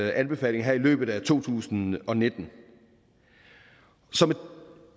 anbefaling her i løbet af to tusind og nitten som et